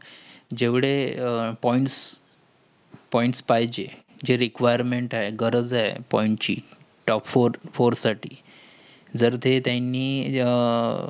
जेवढे points points पाहिजेय. जे recuriment गरज आहे. points ची. top four four साठी जर ते त्यानी